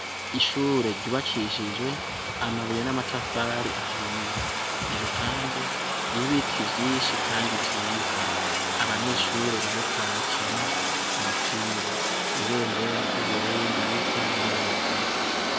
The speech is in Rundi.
Ishure ry'ubakishijwe amabuye namatafari ahiye iruhande hari ibiti vyinshi kandi vyiza. Abanyeshure bariko barakina umupira..Ibendera ryu Burundi risa neza.